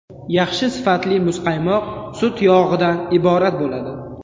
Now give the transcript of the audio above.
Yaxshi sifatli muzqaymoq sut yog‘idan iborat bo‘ladi.